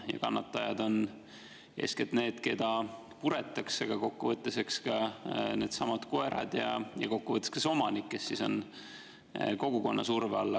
Ja kannatajad on eeskätt need, keda puretakse, aga kokkuvõttes ka needsamad koerad ja ka see omanik, kes on kogukonna surve all.